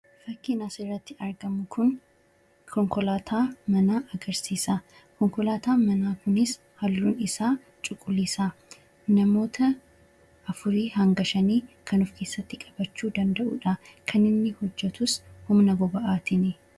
Fakkiin asirratti argamu kun konkolaataa manaa agarsiisa. Konkolaataan manaa kunis halluun isaa cuquliisa. Namoota afurii hanga shanii kan of keessatti qabachuu danda'udha. Kan inni hojjatus humna boba'aatini.